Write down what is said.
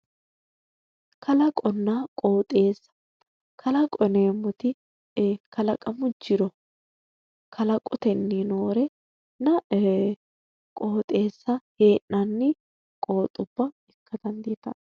Kalaqo yineemmoti kalaqamu jiro kalaqoteyii noorenna qooxeessa hee'nanni qooxxubba ikka dandiittano